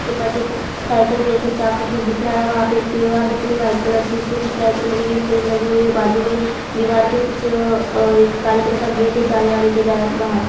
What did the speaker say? उसे के पास एक साइकिल के जैसा चाक का कुछ दिख रहा है वहां पे एक दीवार दिख रही है व्हाइट कलर की उसमें कुछ लाइटिंग लगी हुई है फ्रेम लगी हुई है बाजू मे दीवार के कुछ काले कलर का गेट है जाने-आने के लिए बाहर।